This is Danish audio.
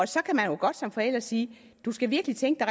så kan man jo godt som forælder sige du skal virkelig tænke